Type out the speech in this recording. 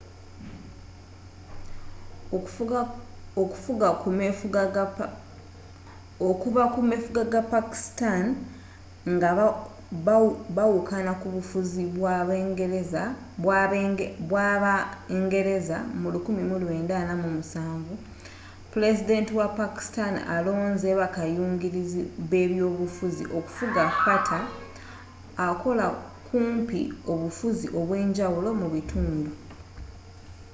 okuva ku mefuga ga pakistan nga bawukana kubufuzi bw'aba ngereza mu 1947 pulezidenti wa pakistan alonze ba bakayungirizi b'ebyobufuzi” okufuga fata akola kumpi obufuzi obwenjawulo mu bitundu